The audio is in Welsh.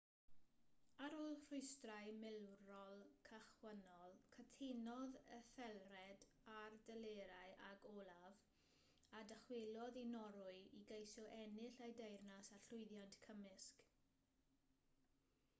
ar ôl rhwystrau milwrol cychwynnol cytunodd ethelred ar delerau ag olaf a ddychwelodd i norwy i geisio ennill ei deyrnas â llwyddiant cymysg